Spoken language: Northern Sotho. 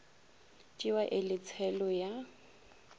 tšewa e le tshelo ya